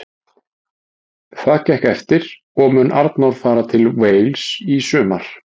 Það gekk eftir og mun Arnór fara til Wales í sumar.